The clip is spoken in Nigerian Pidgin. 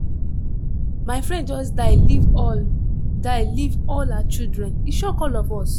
my friend just die leave all die leave all her children e shock all of us.